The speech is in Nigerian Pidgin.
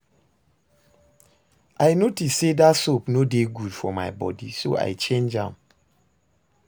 I notice say dat soap no dey good for my body so I change am